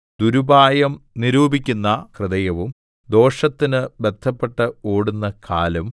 ദുരുപായം നിരൂപിക്കുന്ന ഹൃദയവും ദോഷത്തിനു ബദ്ധപ്പെട്ട് ഓടുന്ന കാലും